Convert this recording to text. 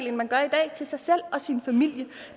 end man gør i dag til sig selv og sin familie